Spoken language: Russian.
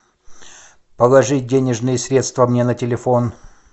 положить денежные средства мне на телефон